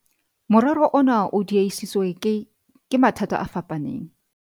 morero ona o diehisitswe ke ke mathata a fapaneng